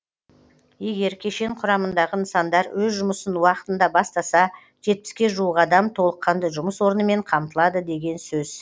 егер кешен құрамындағы нысандар өз жұмысын уақытында бастаса жетпіске жуық адам толыққанды жұмыс орнымен қамтылады деген сөз